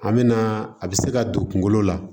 An me na a bɛ se ka don kungolo la